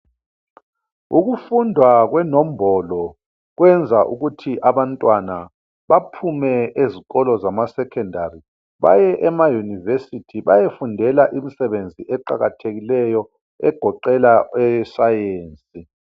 ukufundwa kwenombolo kwenza ukuthi abantwana baphume ezikolo zama secondary baye ema university beyefundela imisebenzi eqakathekile egoqela eye science